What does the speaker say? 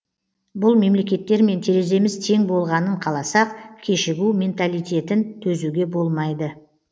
бұл мемлекеттермен тереземіз тең болғанын қаласақ кешігу минталитетін төзуге болмайды